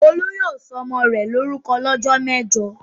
Olú yóò sọ ọmọ rẹ̀ lórúkọ lọ́jọ́ mẹ́jọ!